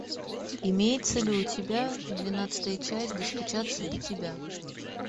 имеется ли у тебя двенадцатая часть достучаться до тебя